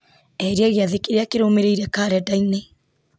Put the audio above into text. eheria gĩathĩ kĩrĩa kĩrũmĩrĩire karenda-inĩ